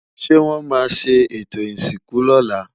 ṣé wón má sé eto ìsìnkú lọla?